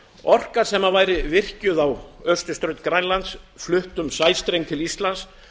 orka sem væri virkjuð á austurströnd grænlands flutt um sæstreng til íslands